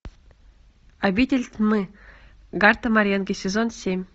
обитель тьмы гарта маренги сезон семь